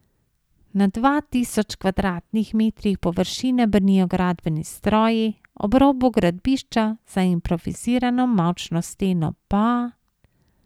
Na dva tisoč kvadratnih metrih površine brnijo gradbeni stroji, ob robu gradbišča, za improvizirano mavčno steno, pa...